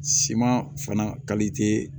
Siman fana